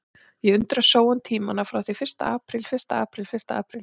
Og ég undrast sóun tímanna frá því fyrsta apríl fyrsta apríl fyrsta apríl.